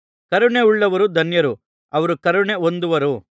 ಕರುಣೆಯುಳ್ಳವರು ಧನ್ಯರು ಅವರು ಕರುಣೆ ಹೊಂದುವರು